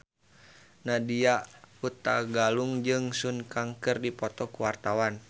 Nadya Hutagalung jeung Sun Kang keur dipoto ku wartawan